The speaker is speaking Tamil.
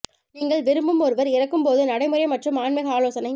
நீங்கள் விரும்பும் ஒருவர் இறக்கும் போது நடைமுறை மற்றும் ஆன்மீக ஆலோசனை